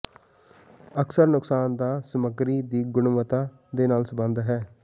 ਅਕਸਰ ਨੁਕਸਾਨ ਦਾ ਸਮੱਗਰੀ ਦੀ ਗੁਣਵੱਤਾ ਦੇ ਨਾਲ ਸੰਬੰਧਿਤ ਹੈ